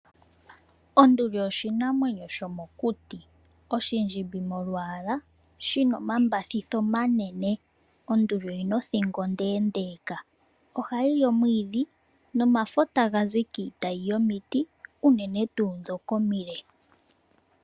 Onduli oyo oshinamwenyo shomokuti ,oshindjimbi molwaala na oshi na omambathithi omanene. Oyi na othingo onde unene, na ohayi li omwiidhi nomafo taga zi kiitayi yomiti unene tuu ndhoka omile.